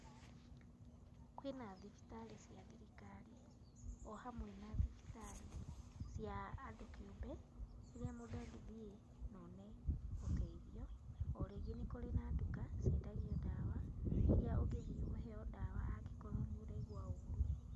Kwĩna thibitarĩ cia thirikari, o-hamwe na thibitarĩ cia andũ kĩũmbe, irĩa mũndũ angĩthiĩ na one ũteithio. O rĩngĩ nĩ kũrĩ na nduka ciendagio ndawa, iria ũngĩthiĩ ũheyo ndawa angĩkorwo nĩ ũraigua ũũru.